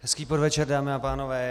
Hezký podvečer, dámy a pánové.